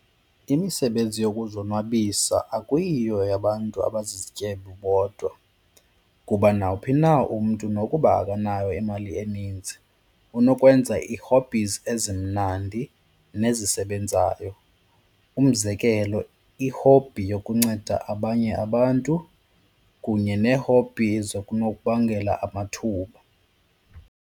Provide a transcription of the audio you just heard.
Imisebenzi yokuzonwabisa akuyiyo eyabantu abazizityebi bodwa kuba nawuphi na umntu nokuba akanayo imali eninzi unokwenza ii-hobbies ezimnandi nezisebenzayo. Umzekelo i-hobby yokunceda abanye abantu kunye nee-hobbies okunokubangela amathuba.